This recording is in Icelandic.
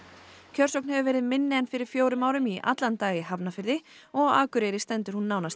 kjörsókn hefur verið minni en fyrir fjórum árum í allan dag í Hafnarfirði og á Akureyri stendur hún nánast